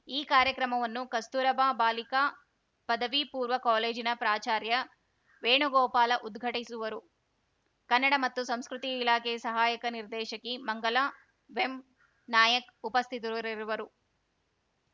ಈ ಕಾರ್ಯಕ್ರಮವನ್ನು ಕಸ್ತೂರಬಾ ಬಾಲಿಕಾ ಪದವಿಪೂರ್ವ ಕಾಲೇಜಿನ ಪ್ರಾಚಾರ್ಯ ವೇಣುಗೋಪಾಲ ಉದ್ಘಾಟಿಸುವರು ಕನ್ನಡ ಮತ್ತು ಸಂಸ್ಕೃತಿ ಇಲಾಖೆ ಸಹಾಯಕ ನಿರ್ದೇಶಕಿ ಮಂಗಲಾ ವೆಂನಾಯಕ್‌ ಉಪಸ್ಥಿತರಿರುವರು